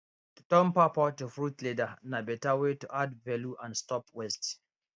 to turn pawpaw to fruit leather na better way to add value and stop waste